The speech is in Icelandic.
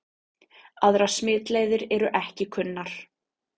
Aðrar smitleiðir eru ekki kunnar.